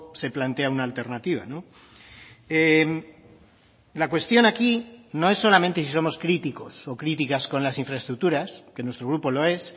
se plantea una alternativa la cuestión aquí no es solamente si somos críticos o críticas con las infraestructuras que nuestro grupo lo es